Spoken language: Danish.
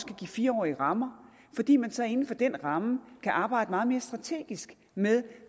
kan give fire årige rammer fordi man så inden for den ramme kan arbejde meget mere strategisk med